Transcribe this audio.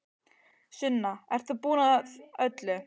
Sunna, ert þú búin að öllu?